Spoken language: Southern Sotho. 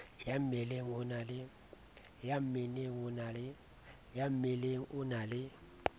ya mmeleng o na le